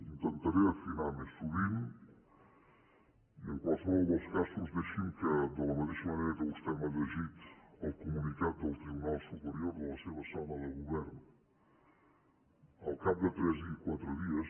intentaré afinar més sovint i en qualsevol dels casos deixi’m que de la mateixa manera que vostè m’ha llegit el comunicat del tribunal superior de la seva sala de govern al cap de tres o quatre dies